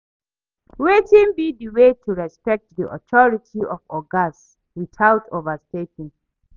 Wetin be di way to respect di authority of ogas without overstepping?